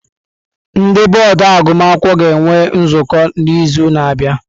Ndị bọọdụ agụmakwụkwọ ga-enwe nzukọ n'izu na-abịa.